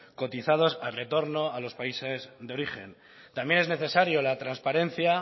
cotizados al retorno a los países de origen también es necesario la transparencia